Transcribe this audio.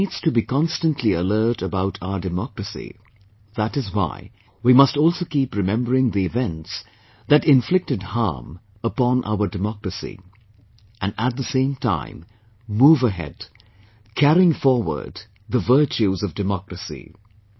One needs to be constantly alert about our Democracy, that is why we must also keep remembering the events that inflicted harm upon our democracy; and at the same time move ahead, carrying forward the virtues of democracy